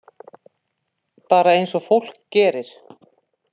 Bara eins og fólk gerir.